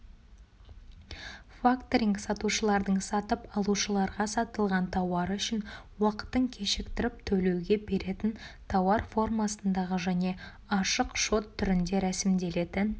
факторинг сатушылардың сатып алушыларға сатылған тауары үшін уақытын кешіктіріп төлеуге беретін тауар формасындағы және ашық шот түрінде рәсімделетін